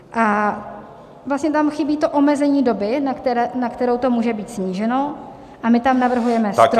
A vlastně tam chybí to omezení doby, na kterou to může být sníženo, a my tam navrhujeme strop -